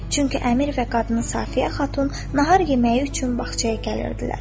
Çünki əmir və qadın Safiyə Xatun nahar yeməyi üçün bağçaya gəlirdilər.